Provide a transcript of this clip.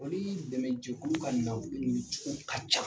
Olu ye dɛmɛjɛkulu ka na kun ye cogo ka ca.